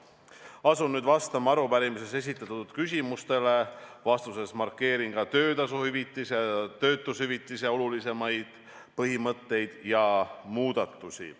Asun nüüd vastama arupärimises esitatud küsimustele, vastuses markeerin ka töötasu hüvitise ja töötushüvitise olulisemaid põhimõtteid ja muudatusi.